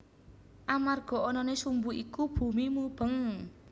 Amarga anané sumbu iku bumi mubeng